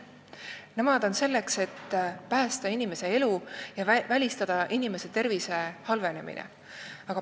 Nemad on selleks, et päästa inimese elu ja välistada inimese tervise halvenemine.